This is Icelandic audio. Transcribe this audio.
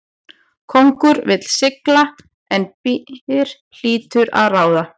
Kóngur vill sigla en byr hlýtur að ráða.